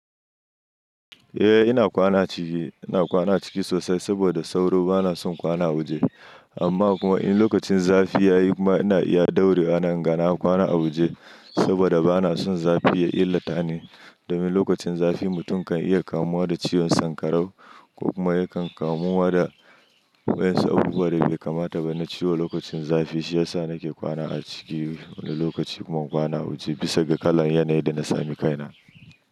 Eh ina kwana ciki, ina kwana ciki sosai saboda sauro bana son kwana waje. Amma kuma in lokacin zafi ya yi kuma ina iya ɗaure wa nan in ga na kwana a waje saboda bana son zafi ya illata ni. Domin lokacin zafi mutum kan iya kamuwa da ciwon sanƙarau ko kuma yakan kamuwa da waɗansu abubuwa da bai kamata ba na ciwo lokacin zafi, shi ya sa nake kwana a ciki wani lokaci kuma in kwana a waje bisa ga kalan yanayi da na sami kaina.